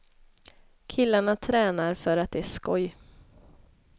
Killarna tränar för att det är skoj.